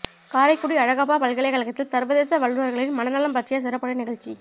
காரைக்குடி அழகப்பா பல்கலைக்கழகத்தில் சர்வதேச வல்லுநர்களின் மனநலம் பற்றிய சிறப்புரை நிகழ்ச்சி